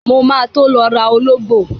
Mo ma tó lọ rà ológbò.